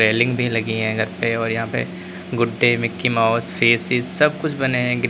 भी लगी हैं घर पे और यहां पे कुत्ते मिकी माउस फेस की सब कुछ बने हैं। ग्रीन --